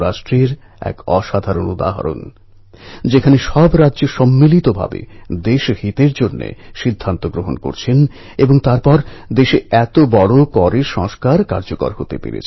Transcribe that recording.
আরও একবার ভারতমাতার দুই মহান সন্তান লোকমান্য তিলকজী এবং চন্দ্রশেখর আজাদজীকে শ্রদ্ধাপূর্ণ নমস্কার জানাচ্ছি